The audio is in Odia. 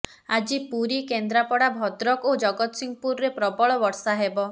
ଆଜି ପୁରୀ କେନ୍ଦ୍ରାପଡା ଭଦ୍ରକ ଓ ଜଗତସିଂହପୁରରେ ପ୍ରବଳ ବର୍ଷା ହେବ